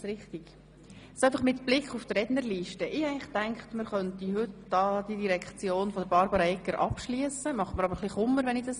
Ich habe gedacht, wir könnten heute die Geschäfte der Direktion von Regierungsrätin Barbara EggerJenzer abschliessen, aber die Länge der Rednerliste bereitet mir ein wenig Kummer.